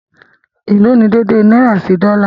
Ẹ̀ló̀ ní dèèdèè náírà sí dọ́là?